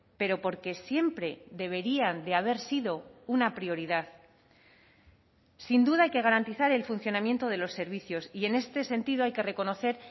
pero porque siempre deberían de haber sido una prioridad sin duda hay que garantizar el funcionamiento de los servicios y en este sentido hay que reconocer